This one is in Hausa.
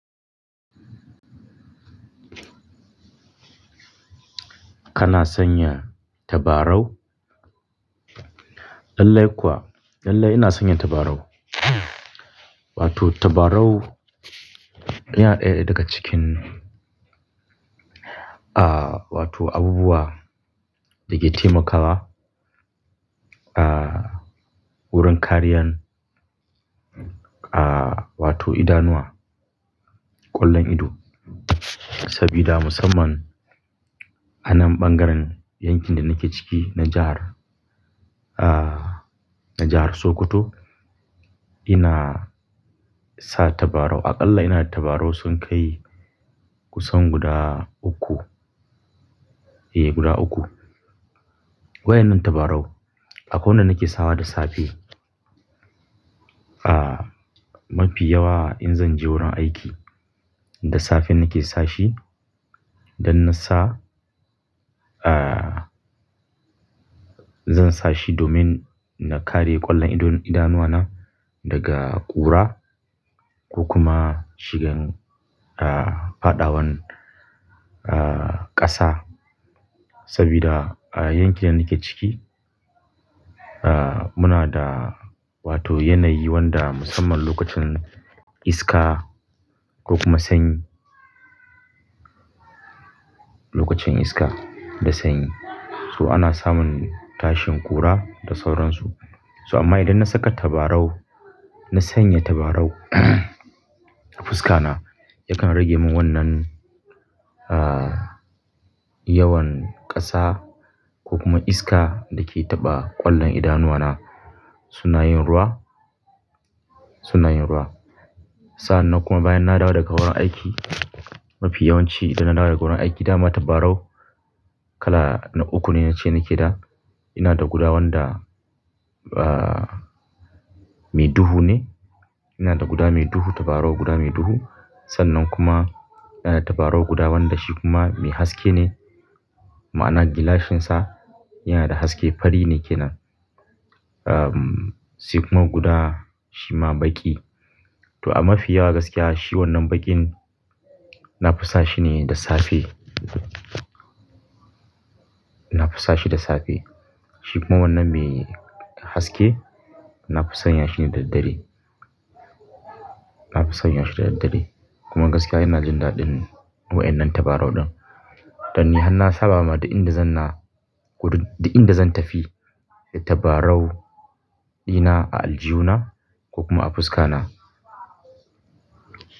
Kana sanya tabarau? Lallai kuwa. Lallai ina sanya tabarau. Wato tabarau, yana ɗaya daga cikin, ah, wato abubuwa da ke taimakawa, ah, wurin kariyan, ah, wato idanuwa, ƙwallon ido. Sabida musamman anan ɓangaren yankin da nake ciki na jahar, ah, na jahar Sokoto ina sa tabarau. Aƙalla ina da tabarau sun kai kusan guda uku. Eh, guda uku. Waɗannan tabarau akwai wanda nake sawa da safe. Ah, mafi yawa in zan je wurin aiki da safe nake sa shi. Dan na sa, ah, zan sa shi domin na kare ƙwallon idanuwa na daga ƙura ko kuma shigan, ah, fadawan, ah, ƙasa. Sabida yankin da nake ciki, ah, muna da wato yanayi wanda musamman lokacin iska ko kuma sanyi. Lokacin iska da sanyi. So ana samun tashin ƙura da sauransu. So amma idan na saka tabarau, na sanya tabarau. Fuskana yaken rage mun wannan yawan kasa ko kuma iska dake taba kwallon idanuwa na suna yin ruwa, suna yin ruwa. Sa'an nan kuma bayan na dawo daga wurin aiki, mafi yawanci idan na dawo daga wurin aiki da ma tabarau kala uku ne nache nake da. Ina da guda wanda, ah, mai duhu ne. Ina da guda mai duhu, tabarau guda mai duhu. Sannan kuma ina da tabarau guda wanda shi kuma mai haske ne. Ma'ana gilashinsa yana da haske, fari ne kenan. Sai kuma guda shi ma baki. To amma mafi yawa gaskiya shi wannan baƙin na fi sa shi ne da safe. Na fi sa shi da safe. Shi kuma wannan mai haske na fi sanya shi ne da dare. Na fi sanya shi da dare. Kuma gaskiya ina jin daɗin waɗannan tabarau din. Don ni har na saba ma duk inɗa zan na ko duk inɗa zan tafi da tabarau dina a aljihu na ko kuma a fuska na.